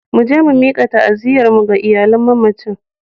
Mu je mu mika ta'aziyyarmu ga iyalan mamacin.